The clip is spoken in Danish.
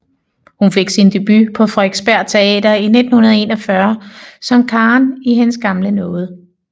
Hun fik sin debut på Frederiksberg Teater i 1941 som Karen i Hendes gamle nåde